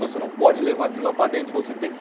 Você não pode levar aquilo lá para dentro, você tem que